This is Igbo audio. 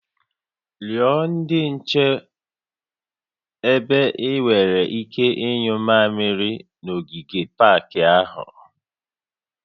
Rịọ ndị nche ebe ị nwere ike ịnyụ mmamịrị n'ogige pak ahụ